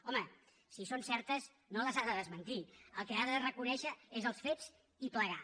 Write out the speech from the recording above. home si són certes no les ha de desmentir el que ha de reconèixer és els fets i plegar